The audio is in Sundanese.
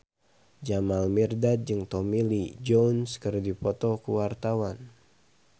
Jamal Mirdad jeung Tommy Lee Jones keur dipoto ku wartawan